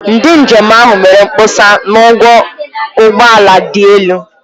Ndị njem ahụ mere mkpesa na ụgwọ ụgbọ ala dị elu.